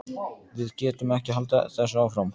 Við getum ekki haldið þessu áfram.